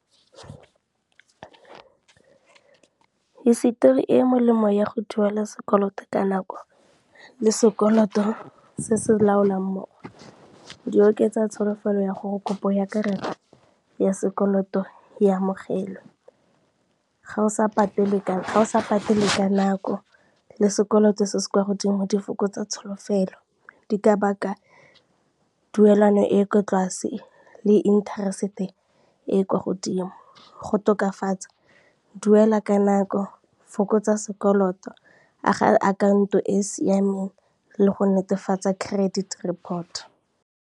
Hisetori e molemo ya go duela sekoloto ka nako le sekoloto se se laolang mmogo di oketsa tsholofelo ya gore kopo ya karata ya sekoloto ya amogelwe. Ga o sa patele ka nako le sekoloto se se kwa godimo di fokotsa tsholofelo di ka baka duelwano e ko tlase le interest-e e e kwa godimo, go tokafatsa duela ka nako, fokotsa sekoloto, aga akhaonto e e siameng le go netefatsa credit report.